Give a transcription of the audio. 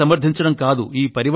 ఊరికే సమర్ధించడం కాదు